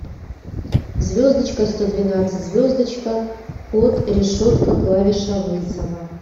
звездочка сто двенадцать звездочка код решетка клавиша вызова